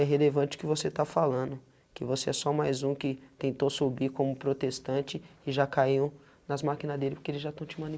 É relevante o que você está falando, que você é só mais um que tentou subir como protestante e já caiu nas máquina dele, porque eles já estão te